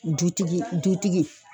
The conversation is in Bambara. Dutigi dutigi